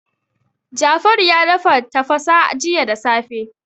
Jafaru ya dafa tafasa jiya da safe.